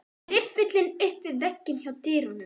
Riffillinn upp við vegg hjá dyrunum.